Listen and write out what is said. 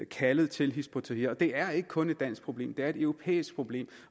kaldet til hizb ut tahrir og det er ikke kun et dansk problem det er et europæisk problem